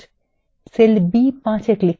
cell b5এ click করুন